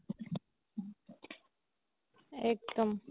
একদম